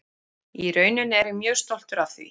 Í rauninni er ég mjög stoltur af því.